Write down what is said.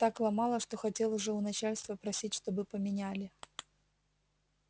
так ломало хотел уже у начальства просить чтобы поменяли